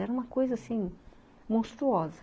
Era uma coisa, assim, monstruosa.